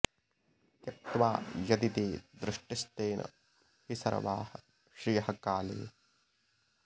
त्यक्त्वा यदि ते दृष्टिस्तेन हि सर्वाः श्रियः काले